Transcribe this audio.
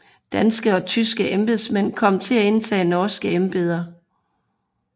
Danske og tyske embedsmænd kom til at indtage norske embeder